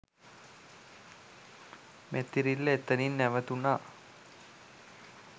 මැතිරිල්ල එතනින් නැවතුනා